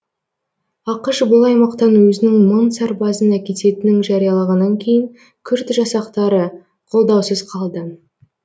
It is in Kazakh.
ақш бұл аймақтан өзінің мың сарбазын әкететінін жариялағаннан кейін күрд жасақтары қолдаусыз қалды